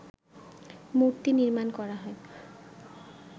মূর্তি নির্মাণ করা হয়